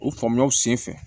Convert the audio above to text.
O pɔmɔnw senfɛ